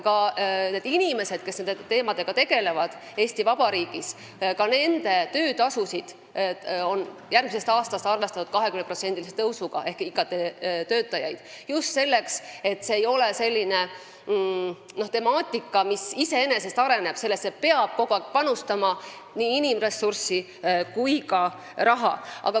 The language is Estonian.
Järgmisest aastast on arvestatud ka töötasu 20%-line tõus inimestele, kes nende teemadega Eesti Vabariigis tegelevad, ehk IKT-töötajatele – just sellepärast, et see ei ole temaatika, mis iseenesest areneb, sellesse peab kogu aeg panustama nii inimressurssi kui ka raha.